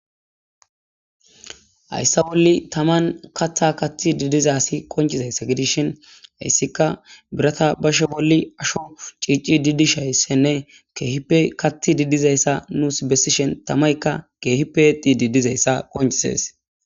Hayssa bolli taman kaththa kathid diza assi qoncizayssa gidishin. Heyssikka biratha bashe bolli ashsho cicidi dishayssan kehippe kattid dizzayssa nussi besishen tamaykka kehippe exid dizayssa qoncisess.